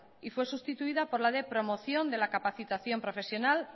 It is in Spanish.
y fue sustituida por la de promoción de la capacitación profesional